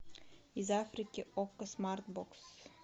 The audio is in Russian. из африки окко смарт бокс